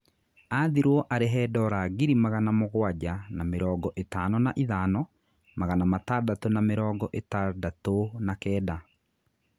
Athirũo arihe dora ngiri magana mũgwanja na mĩrongo ĩtano na ithano, magana matandatũ na mĩrongo itandatu na kenda.